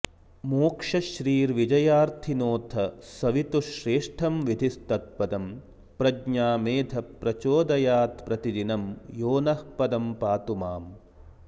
मोक्षश्रीर्विजयार्थिनोऽथ सवितुः श्रेष्ठं विधिस्तत्पदं प्रज्ञा मेधप्रचोदयात्प्रतिदिनं यो नः पदं पातु माम्